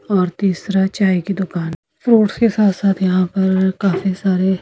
और तीसरा चाय की दुकान फ्रूट्स के साथ-साथ यहां पर काफी सारे--